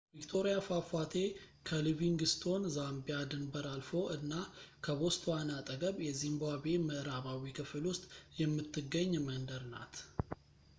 ቪክቶሪያ ፏፏቴ ከሊቪንግስቶን ዛምቢያ ድንበር አልፎ እና ከቦትስዋና አጠገብ የዚምባብዌ ምዕራባዊ ክፍል ውስጥ የምትገኝ መንደር ናት